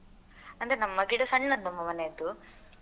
ಅಂದ್ರೆ ನಮ್ಮ ಗಿಡ ಸಣ್ಣದು ನಮ್ಮ ಮನೆಯದ್ದು.